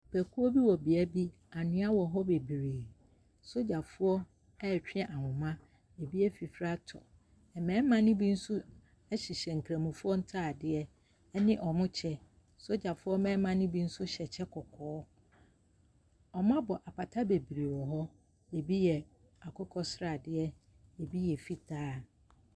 Akuo bi wɔ bea bi , anwea wɔ hɔ bebree. Sogyafoɔ ɛɛtwe ahoma, ebi efifri atɔ. Mbɛɛma ne bi so ɛhyehyɛ nkramofoɔ ntaadeɛ ɛne ɔmo kyɛ. Sogyafoɔ mmɛɛma ne bi so hyɛ kyɛ kɔkɔɔ. Ɔmo abɔ apata bebree wɔhɔ, ebi yɛ akokɔsradeɛ, ebi yɛ fitaa.